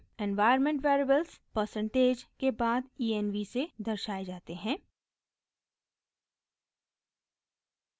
environment variables percentage % के बाद env से दर्शाये जाते हैं